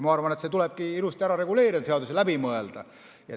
Ma arvan, et see tulebki ilusasti seaduses läbi mõelda.